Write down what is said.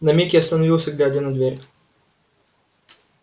на миг я остановился глядя на дверь